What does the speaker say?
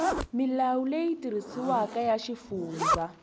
milawu leyi tirhisiwaka ya xifundza